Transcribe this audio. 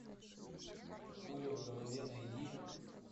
пуля в голове найди